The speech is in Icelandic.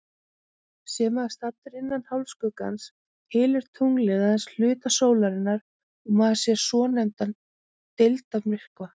Sé maður staddur innan hálfskuggans, hylur tunglið aðeins hluta sólarinnar og maður sér svonefndan deildarmyrkva.